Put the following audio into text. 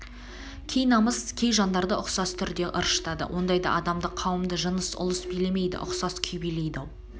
кей намыс кей жандарды ұқсас түрде ыршытады ондайда адамды қауымды жыныс ұлыс билемейді ұқсас күй билейді-ау